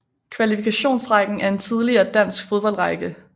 Kvalifikationsrækken er en tidligere dansk fodboldrække